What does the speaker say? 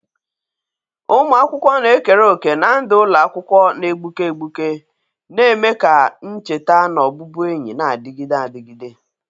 Ụmụ akwụkwọ na-ekere òkè na ndụ ụlọ akwụkwọ na-egbuke egbuke, na-eme ka ncheta na ọbụbụenyi na-adịgide adịgide..